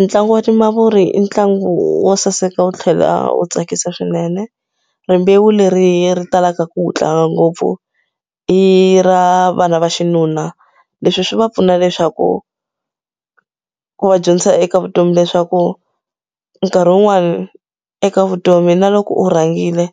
Ntlangu wa timavuri i ntlangu wo saseka wu tlhela wu tsakisa swinene rimbewu leri ri talaka ku wu tlanga ngopfu i ra vana va xinuna leswi swi va pfuna leswaku ku va dyondzisa eka vutomi leswaku nkarhi wun'wani eka vutomi na loko u rhangile